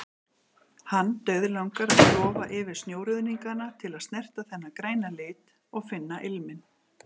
Hann dauðlangar að klofa yfir snjóruðningana til að snerta þennan græna lit, og finna ilminn.